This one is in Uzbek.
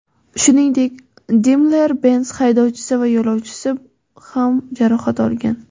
Shuningdek, Daimler-Benz haydovchisi va yo‘lovchisi ham jarohat olgan.